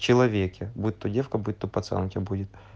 человеки будет по девкам будто пацанки будет